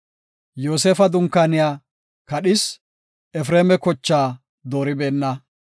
Yoosefa dunkaaniya kadhis; Efreema kochaa dooribeenna.